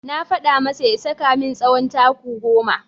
Na faɗa masa ya saka min tsawon taku goma.